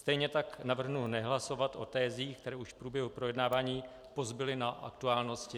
Stejně tak navrhnu nehlasovat o tezích, které už v průběhu projednávání pozbyly na aktuálnosti.